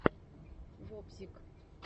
вобзик